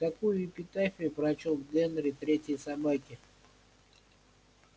такую эпитафию прочёл генри третьей собаке